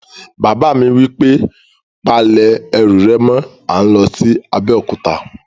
Bàbá mi wí pé, "Pa lẹ̀ ẹrù rẹ̀ mọ́! à ń lọ sí Abéòkúta